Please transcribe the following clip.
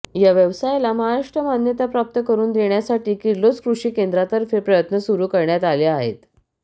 या व्यवसायाला महाराष्ट्रात मान्यताप्राप्त करून देण्यासाठी किर्लोस कृषी केंद्रातर्फे प्रयत्न सुरू करण्यात आले आहेत